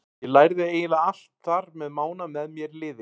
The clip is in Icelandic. Ég lærði eiginlega allt þar með Mána með mér í liði.